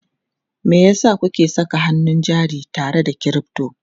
Me yasa kuke saka hannun jari tare da crypto?